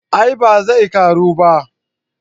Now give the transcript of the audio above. a'a ba zai karu ba